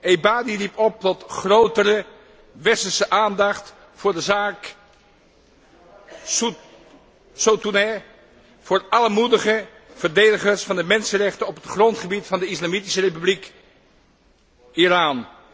Ebadi riep op tot grotere westerse aandacht voor de zaak Sotoudeh, voor alle moedige verdedigers van de mensenrechten op het grondgebied van de Islamitische Republiek Iran.